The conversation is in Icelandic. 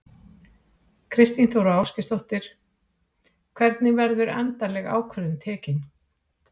Þóra Kristín Ásgeirsdóttir: Hvenær verður endaleg ákvörðun tekin?